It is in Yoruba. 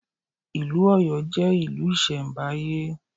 Ìlú Ọ̀yọ́ jẹ́ ìlú ìṣẹ̀mbáyé.